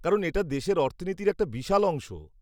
কারণ, এটা দেশের অর্থনীতির একটা বিশাল অংশ।